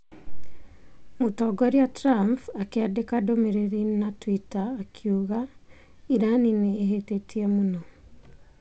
Mũtongoria Trump akĩandĩka ndũmĩrĩri na twitter akiuga:Iran nĩ ĩhĩtĩtie mũno.